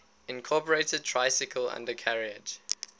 incorporated tricycle undercarriage